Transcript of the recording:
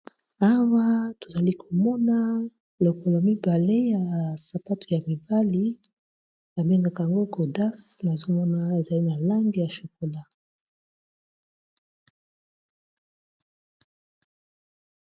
Awa tozali komona lokolo mibale ya sapato ya mibali babengaka ango godas nazomona ezali na langi ya chokola.